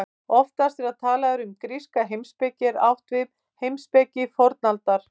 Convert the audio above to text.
Oftast þegar talað er um gríska heimspeki er átt við heimspeki fornaldar.